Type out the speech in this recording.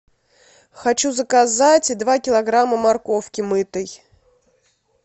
хочу заказать два килограмма морковки мытой